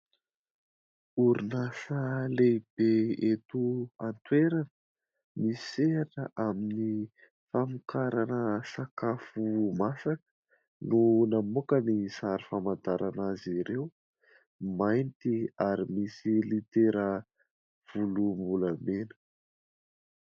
Orinasa lehibe eto an-toerana misehatra amin'ny famokarana sakafo masaka no namoaka ny sary famantarana azy ireo. Mainty ary misy litera volom-bolamena.